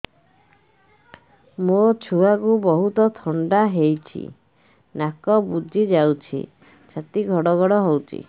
ମୋ ଛୁଆକୁ ବହୁତ ଥଣ୍ଡା ହେଇଚି ନାକ ବୁଜି ଯାଉଛି ଛାତି ଘଡ ଘଡ ହଉଚି